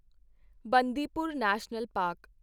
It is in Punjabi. Bandipur national park